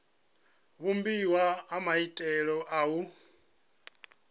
vhumbiwa ha maitele a u